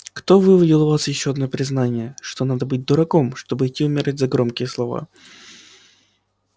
кто выудил у вас ещё одно признание что надо быть дураком чтобы идти умирать за громкие слова